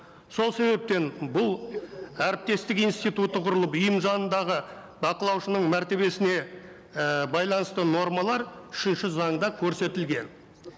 сол себептен бұл әріптестік институты құрылып ұйым заңындағы бақылаушының мәртебесіне ііі байланысты нормалар үшінші заңда көрсетілген